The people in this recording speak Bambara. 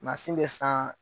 Masin bɛ san.